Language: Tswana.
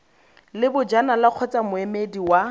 le bojanala kgotsa moemedi wa